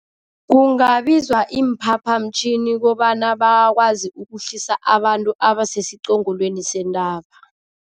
Kungabizwa iimphaphamtjhini kobana bakwazi ukuhlisa abantu abasesiqongolweni sentaba.